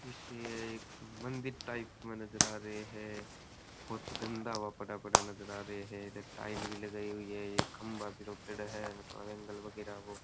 इसे एक मंदिर टाइप में नजर आ रहे है बड़ा बड़ा नजर आ रहे है टाइल भी लगाइ हुई है एक खम्भा भी राखेड़ो है मतलब --